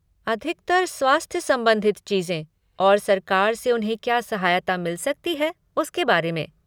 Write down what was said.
अधिकतर स्वास्थ्य संबंधित चीज़ें और सरकार से उन्हें क्या सहायता मिल सकती है उसके बारे में।